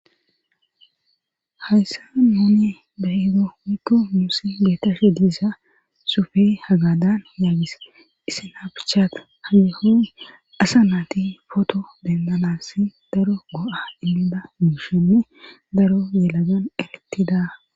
hayssa nouni bahido mikko muusi geetashe diisa sufe hagadan yaagis isin abichata haggeho asa naati foto dendanasi daro go7a iniba mushenne daro yelagan erettida